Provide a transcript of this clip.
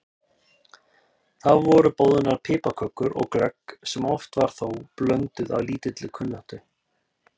Þá voru boðnar piparkökur og glögg sem oft var þó blönduð af lítilli kunnáttu.